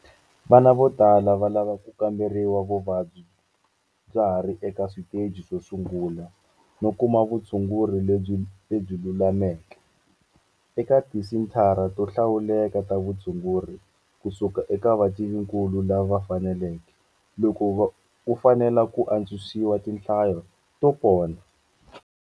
Vana vo tala va lava ku ka mberiwa vuvabyi bya ha ri eka switeji swo sungula no kuma vutshunguri lebyi lulameke - eka tisenthara to hlawuleka ta vutshunguri ku suka eka vativinkulu lava faneleke - loko ku fanele ku atswisiwa tinhlayo to pona.